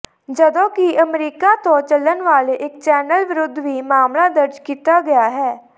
ਜਦੋਂਕਿ ਅਮਰੀਕਾ ਤੋਂ ਚੱਲਣ ਵਾਲੇ ਇੱਕ ਚੈਨਲ ਵਿਰੁੱਧ ਵੀ ਮਾਮਲਾ ਦਰਜ ਕੀਤਾ ਗਿਆ ਹੈ